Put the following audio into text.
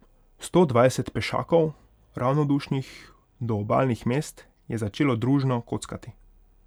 Sto dvajset pešakov, ravnodušnih do obalnih mest, je začelo družno kockati.